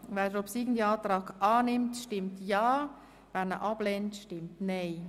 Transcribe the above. Wer den obsiegenden Antrag annimmt, stimmt ja, wer ihn ablehnt, stimmt nein.